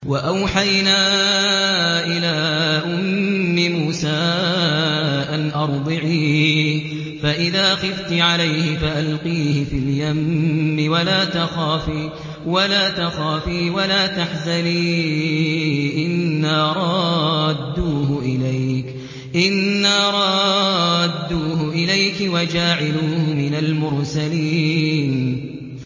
وَأَوْحَيْنَا إِلَىٰ أُمِّ مُوسَىٰ أَنْ أَرْضِعِيهِ ۖ فَإِذَا خِفْتِ عَلَيْهِ فَأَلْقِيهِ فِي الْيَمِّ وَلَا تَخَافِي وَلَا تَحْزَنِي ۖ إِنَّا رَادُّوهُ إِلَيْكِ وَجَاعِلُوهُ مِنَ الْمُرْسَلِينَ